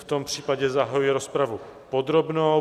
V tom případě zahajuji rozpravu podrobnou.